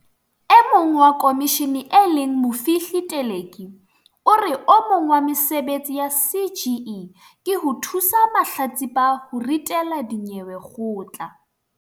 E mong wa khomishene e leng Mofihli Teleki o re o mong wa mesebetsi ya CGE ke ho thusa mahlatsipa ho ritela dinyewe kgotla.